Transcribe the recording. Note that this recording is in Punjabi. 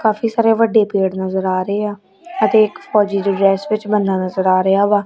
ਕਾਫੀ ਸਾਰੇ ਵੱਡੇ ਪੇੜ ਨਜ਼ਰ ਆ ਰਹੇ ਆ ਅਤੇ ਇੱਕ ਫੌਜੀ ਜਿਹੀ ਡਰੈੱਸ ਵਿੱਚ ਬੰਦਾ ਨਜ਼ਰ ਆ ਰਿਹਾ ਵਾ।